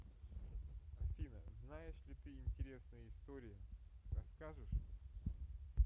афина знаешь ли ты интересные истории расскажешь